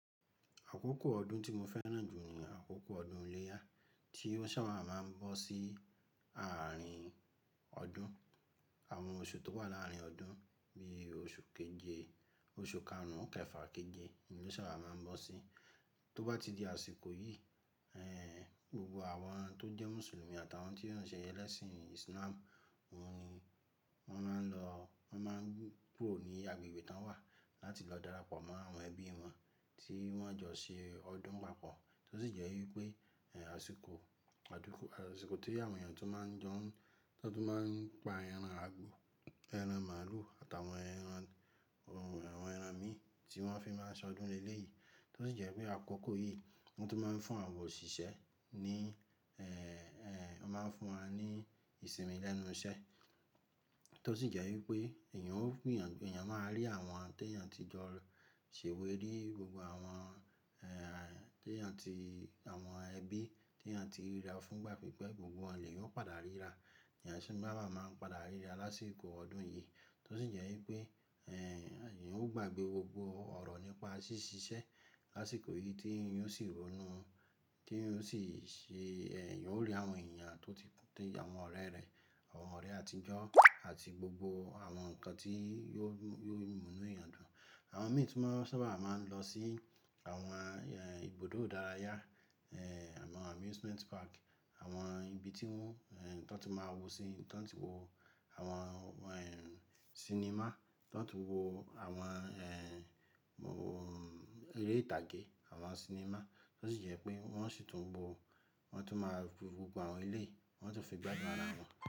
Àkókò ọdún tí mo fẹ́ràn jù ni àkókò ọdún iléyá tí ó sábà máa ń bọ́ sí àárín ọdún. Àwọn oṣù tó wà láàárín ọdún bí i oṣù keje, oṣù karùn-ún kẹfà keje ni ó sábà máa ń bọ́ sí. Tó bá ti di àsìkò yìí, ẹ́, gbogbo àwọn tó jẹ́ Mùsùlùmí àtàwọn tí wọ́n ń ṣe ẹlẹ́sìn Islam, wọ́n ni wọ́n máa ń lọ, wọ́n máa ń kúrò ní agbègbè tí wọ́n wà láti lọ darapọ̀ mọ́ àwọn ẹbí wọn tí wọ́n jọ ṣe ọdún papọ̀. Tó sì jẹ́ wípé, ẹ́, àsìkò, ọdún, àsìkò tí àwọn èèyàn tó máa ń jọ, tó máa ń pa ẹran àgbò, ẹran màlúù àtàwọn ẹran, àwọn ẹran mì tí wọ́n fi máa ṣọdún lelé yìí. Tó sì jẹ́ pé àkókò yìí ni wọ́n tó máa ń fún àwọn òṣìṣẹ́ ní, ẹ́, ẹ́, wọ́n máa ń fún wọn ní ìsinmi lẹ́nu iṣẹ́. Tó sì jẹ́ wípé èèyàn, èèyàn máa rí àwọn tí èèyàn tí jọ ṣèwé rí, gbogbo àwọn, ẹ́, tí èèyàn tí, àwọn ẹbí tí èèyàn ti ríra fúngbà pípẹ́, gbogbo wọn lè yan o padà ríra. Ẹ̀yàn sì máa, máa, máa ń padà ríra lásìkò ọdún yìí. Tó sì jẹ́ wípé, ẹ́, èèyàn ó gbàgbé gbogbo ọ̀rọ̀ nípa ṣíṣiṣẹ́ lásìkò yìí tí èèyàn ó sì ronú, tí èèyàn ó sì ṣe, ẹ́, èèyàn ó rí àwọn èèyàn tó ti, àwọn ọ̀rẹ́ rẹ̀, àwọn ọ̀rẹ́ àtijọ́ àti gbogbo àwọn nǹkan tí yóò, yóò mú inú èèyàn dùn. Àwọn mìíràn tó sábà máa ń lọ sí àwọn, ẹ́, ibùdó idárayá, ẹ́, àwọn amusement park, àwọn ibi tí wọ́n, ẹ́, tó ti máa wò síi, tó ti máa wò àwọn, ẹ́, sinimá, tó ti máa wò àwọn, ẹ́, eré ìtàgé, àwọn sinimá. Tó sì jẹ́ wípé wọ́n sì tún bo àwọn tó máa gbó gbogbo àwọn ilé, wọ́n sì fi gbajúmọ̀ ara wọn.